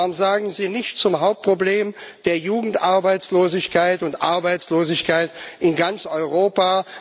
Warum sagen Sie nichts zum Hauptproblem der Jugendarbeitslosigkeit und Arbeitslosigkeit in ganz Europa?